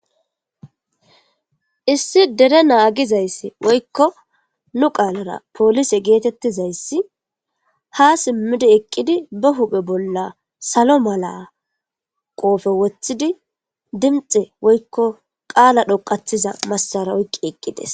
Issi dere naagizayss woykko nu qaalara poolise geetettizayssi ha simmidi eqqidi ba huphe bolla salo mala qoofe wothidi dimxe woykko qaala dhoqathiza massara oyqqi eqqides.